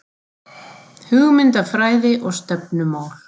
Hugmyndafræði og stefnumál